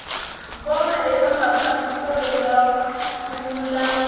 vona eka mafambiselo ya vululami